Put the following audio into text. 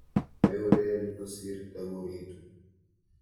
Meureren kosir, takuriitu.